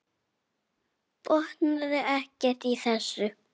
Botnaði ekkert í þessu.